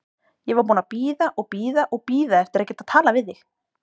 Ég var búin að bíða og bíða og bíða eftir að geta talað við þig.